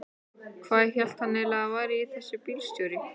Hvað hélt hann eiginlega að hann væri þessi bílstjóri.